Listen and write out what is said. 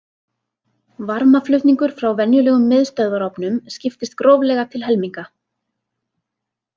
Varmaflutningur frá venjulegum miðstöðvarofnum skiptist gróflega til helminga.